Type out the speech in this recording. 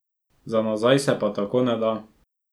Za nazaj se pa tako ne da.